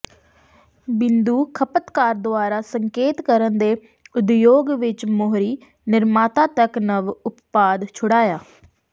ਬਿੰਦੂ ਖਪਤਕਾਰ ਦੁਆਰਾ ਸੰਕੇਤ ਕਰਨ ਦੇ ਉਦਯੋਗ ਵਿੱਚ ਮੋਹਰੀ ਨਿਰਮਾਤਾ ਤੱਕ ਨਵ ਉਤਪਾਦ ਛੁਡਾਇਆ